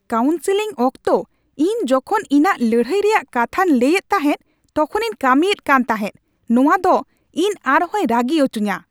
Counselling ᱚᱠᱛᱚ ᱤᱧ ᱡᱚᱠᱷᱚᱱ ᱤᱧᱟᱹᱜ ᱞᱟᱹᱲᱦᱟᱹᱭ ᱨᱮᱭᱟᱜ ᱠᱟᱛᱷᱟᱧ ᱞᱟᱹᱭ ᱮᱫ ᱛᱟᱦᱮᱸᱫ ᱛᱚᱠᱷᱚᱱᱤᱧ ᱠᱟᱹᱢᱤᱭᱮᱫ ᱠᱟᱱ ᱛᱟᱦᱮᱸᱫ ᱾ ᱱᱚᱶᱟ ᱫᱚᱯ ᱤᱧ ᱟᱨᱦᱚᱭ ᱨᱟᱹᱜᱤ ᱦᱚᱪᱚᱧᱟ ᱾